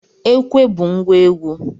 Ekwe bụ ngwa egwu